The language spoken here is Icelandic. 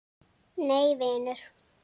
Nei vinur.